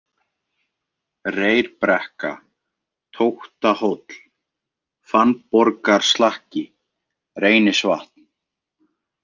Reyrbrekka, Tóttahóll, Fannborgarslakki, Reynisvatn